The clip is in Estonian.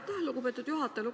Aitäh, lugupeetud juhataja!